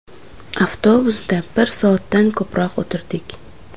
Avtobusda bir soatdan ko‘proq o‘tirdik.